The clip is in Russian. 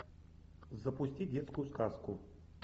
запусти детскую сказку